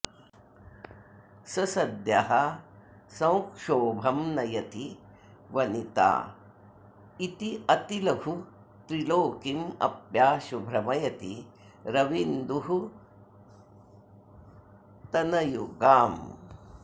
स सद्यः संक्षोभं नयति वनिता इत्यतिलघु त्रिलोकीमप्याशु भ्रमयति रवीन्दुस्तनयुगाम्